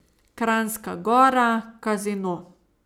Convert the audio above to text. Kranjska Gora, kazino.